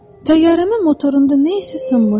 Təyyarəmin motorunda nə isə sınmışdı.